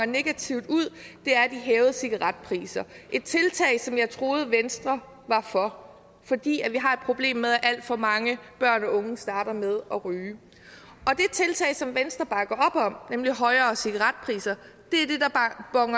negativt ud er de hævede cigaretpriser et tiltag som jeg troede venstre var for fordi vi har et problem med at alt for mange børn og unge starter med at ryge det tiltag som venstre bakker op om nemlig højere cigaretpriser